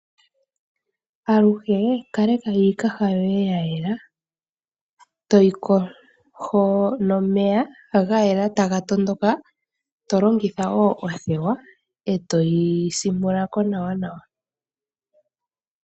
Aluhe kaleka iikaha yoye ya yelà. Toyi kosho nomeya gayela taga tondoka, tolongitha wo othewa, eto yi simpula ko nàwa nawa.